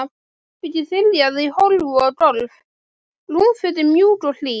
Herbergið þiljað í hólf og gólf, rúmfötin mjúk og hlý.